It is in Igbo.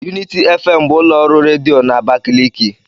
Unity FM bụ ụlọ ọrụ redio na Abakaliki.